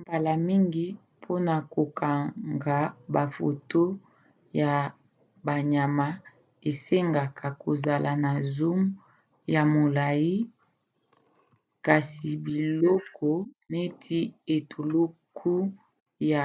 mbala mingi mpona kokanga bafoto ya banyama esengaka kozala na zoom ya molai kasi biloko neti etuluku ya